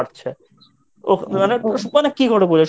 ওহ মানে কি করে বোঝাই? শহরের